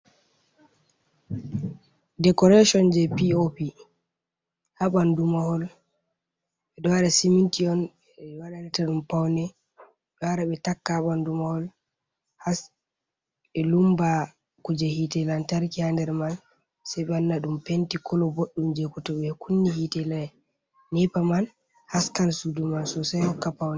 Decoration je pop ha bandu mahol be dore siminti on bee waɗanata ɗum paune d ware be taka ha bandu mahol hasbe lumba kuje hite lantarki ha nder man sei banna dum penti kolo boɗdum je koto be kunni hite neppa man haskan suduman so sei hokka paune.